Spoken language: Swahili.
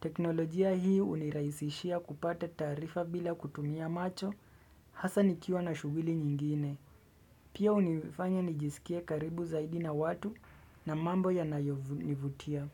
Teknolojia hii hunirahisishia kupata taarifa bila kutumia macho. Hasa nikiwa na shughuli nyingine. Pia hunifanya nijisikie karibu zaidi na watu na mambo yanayonivutia.